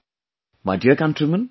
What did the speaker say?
My dear countrymen,